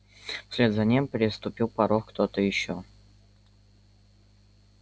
вслед за ним переступил порог кто-то ещё